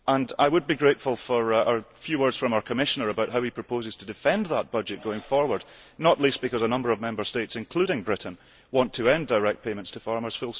I would be grateful for a few words from our Commissioner about how he proposes to defend that budget going forward, not least because a number of Member States, including Britain, want to end direct payments to farmers.